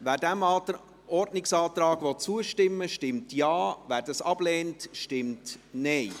Wer diesem Ordnungsantrag zustimmen will, stimmt Ja, wer dies ablehnt, stimmt Nein.